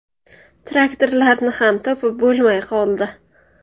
Traktorlarini ham topib bo‘lmay qoldi.